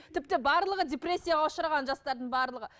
тіпті барлығы депрессияға ұшыраған жастардың барлығы